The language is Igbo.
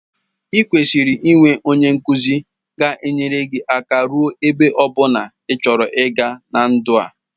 I kwesiri i nwe onye nkuzi ga enyere gi aka ruo ebe ọbụna ichọrọ iga na ndụ a.